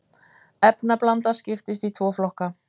efnablanda skiptist í tvo flokka